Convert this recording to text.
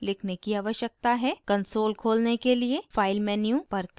console खोलने के लिए file menu पर click करें